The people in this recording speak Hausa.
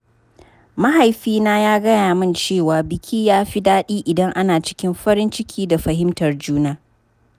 Mahaifina ya gaya min cewa biki yafi daɗi idan ana cikin farin ciki da fahimtar juna.